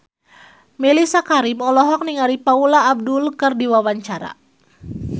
Mellisa Karim olohok ningali Paula Abdul keur diwawancara